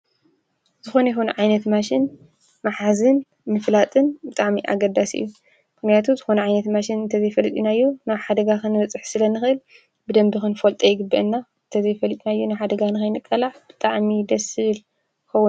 ዝኾነ ይኹን ዓይነት ማሽን ምሓዝን ምፍላጥን ኣገዳሲ እዩ። ምኽንያቱ ዝኾነ ዓይነት ማሽን እንተዘይፈሊጥናዮ ናብ ሓደጋ ክንበፅሕ ስለንኽእል ብደንቢ ክንፈጦ ይግበአና ተዘይፈሊጥናዮ ናብ ሓደጋ ንኸይንቃላዕ ብጣዕሚ እዩ ደስ ዝብል ይኸውን፡፡